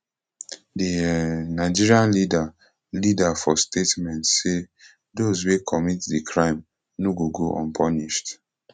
di um nigerian leader leader for statement say dose wey commit di crime no gogo unpunished